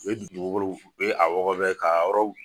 U ye dugukolow u ye a wɔgɔbɛ k'a yɔrɔw